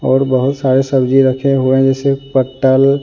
और बहुत सारे सब्जी रखे हुए है जैसे पट्टल।